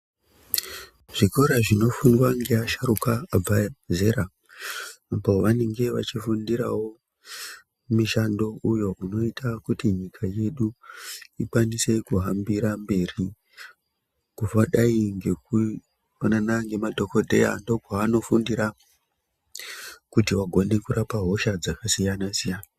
Zvikora zvinofundwa ngeasharuka abva zera apo vanenga vachinofundirawo mishando uyo inoita kuti nyika yedu ikwanise kuhambira mberi kufadai ngekufanana ngemadhokodheya ndokwavanofundira kuti vagone kurapa hosha dzakasiyana siyana.